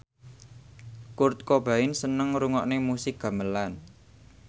Kurt Cobain seneng ngrungokne musik gamelan